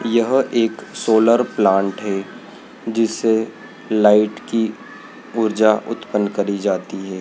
यहां एक solar plant है जिससे लाइट की ऊर्जा उत्पन्न करी जाती है।